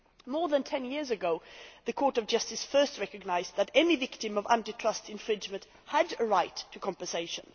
More than 10 years ago the Court of Justice first recognised that any victim of anti trust infringement had a right to compensation.